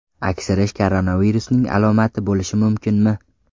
Aksirish koronavirusning alomati bo‘lishi mumkinmi?